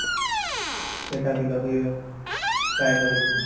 ସେଇଟାବି ଲଗେଇବା try କରିବି